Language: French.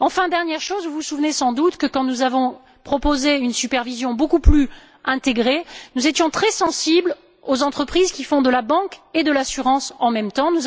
Enfin, dernière chose, vous vous souvenez sans doute que quand nous avons proposé une supervision beaucoup plus intégrée, nous étions très sensibles aux entreprises qui font de la banque et de l'assurance en même temps.